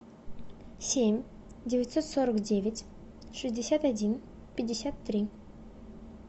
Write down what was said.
семь девятьсот сорок девять шестьдесят один пятьдесят три